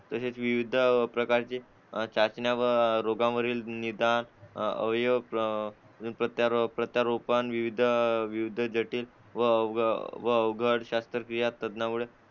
तसेच विविध प्रकारचे चाचण्या व रोगांवरील निदान अवयव प्रत्यारोपण विविध जटिल व अवघड शस्त्रक्रिया त्यामुळे